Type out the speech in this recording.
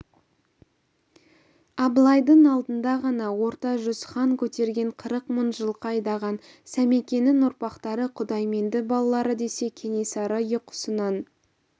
абылайдың алдында ғана орта жүз хан көтерген қырық мың жылқы айдаған сәмекенің ұрпақтары құдайменді балалары десе кенесары ұйқысынан